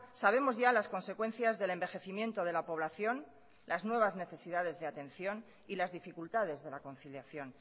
sabemos ya las consecuencias del envejecimiento de la población las nuevas necesidades de atención y las dificultades de la conciliación